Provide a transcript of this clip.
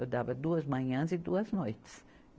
Eu dava duas manhãs e duas noites.